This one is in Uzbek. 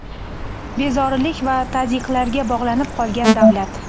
bezorilik va tazyiqlarga bog‘lanib qolgan davlat.